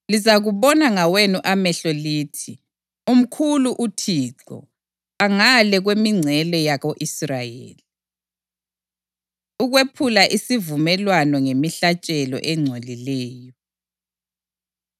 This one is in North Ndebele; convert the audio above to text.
Lizakubona ngawenu amehlo lithi, ‘Umkhulu uThixo, angale kwemingcele yako-Israyeli!’ ” Ukwephula Isivumelwano Ngemihlatshelo Engcolileyo